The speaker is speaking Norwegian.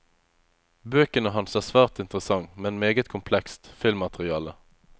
Bøkene hans er svært interessant, men meget komplekst, filmmateriale.